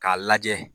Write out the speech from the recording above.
K'a lajɛ